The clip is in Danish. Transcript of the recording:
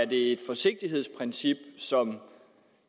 det er et forsigtighedsprincip som